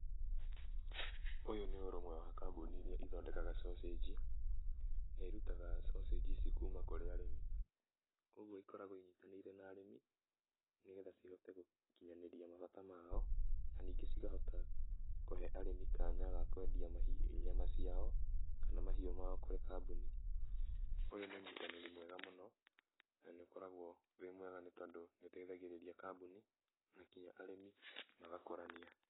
Ũyũ nĩ ũrũmwe wa kambuni iria ithondekaga sausage , na irutaga sausage ici kuuma kũrĩ arĩmi. Kwoguo ikoragwo inyitanĩire na arĩmi nĩgetha cihote gũkinyanĩria mabata mao, na ningĩ cikahota kũhe arĩmi kanya ga kwendia mahiũ, nyama ciao kaana mahiũ mao kũrĩ kambuni. Ũyũ nĩ ũnyitanĩri mwega mũno na nĩ ũkoragwo wĩ mwega nĩ tondũ nĩ ũteithagĩrĩria kambuni na nginya arĩmi magakũrania.